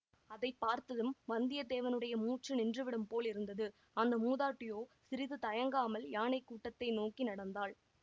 அதை பார்த்ததும் வந்தியத்தேவனுடைய மூச்சு நின்றுவிடும் போலிருந்தது அந்த மூதாட்டியோ சிறிது தயங்காமல் யானை கூட்டத்தை நோக்கி நடந்தாள்